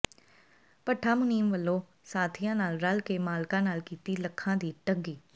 ਭੱਠਾ ਮੁਨੀਮ ਵੱਲੋਂ ਸਾਥੀਆਂ ਨਾਲ ਰਲ ਕੇ ਮਾਲਕਾਂ ਨਾਲ ਕੀਤੀ ਲੱਖਾਂ ਦੀ ਠੱਗੀ